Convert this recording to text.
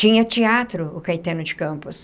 Tinha teatro o Caetano de Campos.